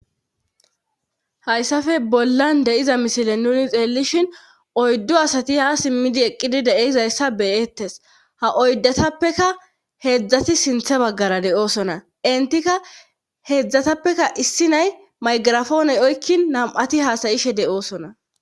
Hayssafe bollan deyiza misile nuni xeellishin oyddo asati ha simmidi eqqidi deeizayssa beyettes ha oydatappeka heedzdzati sinthe baggara de'oosona intika heedzdzatappeka issi nay maygirafooney oykkin nam'ati haasayishe de'oosona.